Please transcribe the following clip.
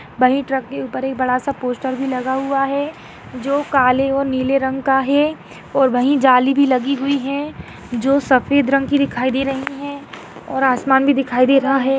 वही ट्रक के ऊपर एक बड़ासा पोस्टर भी लगा हुआ है जो काले और नीले रंग का है और वही जाली भी लगी हुई है जो सफेद रंग की दिखाई दे रही है और आसमान भी दिखाई दे रहा है।